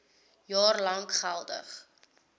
jaar lank geldig